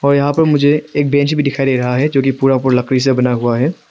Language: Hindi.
और यहां पर मुझे एक बेंच भी दिखाई दे रहा है जो कि पूरा पूरा लकड़ी से बना हुआ है।